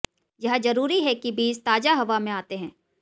यह जरूरी है कि बीज ताजा हवा में आते हैं